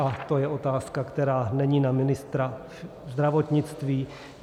A je to otázka, která není na ministra zdravotnictví.